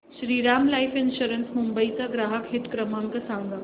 Shriram life insurance Mumbai चा ग्राहक हित क्रमांक सांगा